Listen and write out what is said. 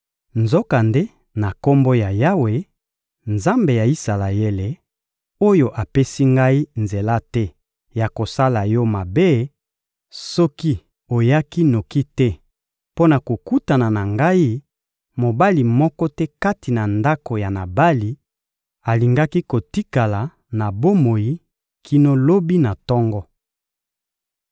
Nzokande, na Kombo na Yawe, Nzambe ya Isalaele, oyo apesi ngai nzela te ya kosala yo mabe, soki oyaki noki te mpo na kokutana na ngai, mobali moko te kati na ndako ya Nabali alingaki kotikala na bomoi kino lobi na tongo.